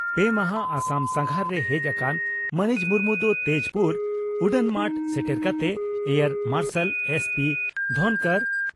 ᱯᱮ ᱢᱟᱦᱟᱸ ᱟᱥᱟᱢ ᱥᱟᱸᱜᱷᱟᱨ ᱨᱮ ᱦᱮᱡ ᱟᱠᱟᱱ ᱢᱟᱹᱱᱤᱡ ᱢᱩᱨᱢᱩ ᱫᱚ ᱛᱮᱡᱽᱯᱩᱨ ᱩᱰᱟᱹᱱᱢᱟᱴ ᱥᱮᱴᱮᱨ ᱠᱟᱛᱮ ᱮᱭᱟᱨ ᱢᱟᱨᱥᱟᱞ ᱮᱥᱹᱯᱤᱹ ᱫᱷᱚᱱᱠᱚᱨ